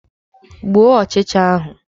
Gbuo ọchịcha ahụ!